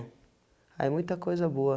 Aí muita coisa boa.